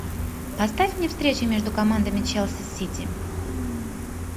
поставь мне встречу между командами челси сити